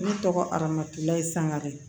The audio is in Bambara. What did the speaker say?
Ne tɔgɔ aramatula ye sangare